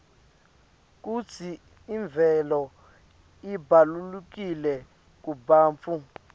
kutsi imvelo ibalulekile kubantfu